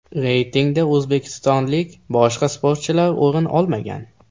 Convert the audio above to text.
Reytingda o‘zbekistonlik boshqa sportchilar o‘rin olmagan.